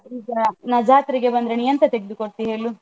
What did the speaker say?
ನಾನ್ ಜಾತ್ರೆಗೆ ಬಂದ್ರೆ ನಿನ್ ಎಂತ ತೆಗ್ದು ಕೊಡ್ತಿ ಹೇಳು?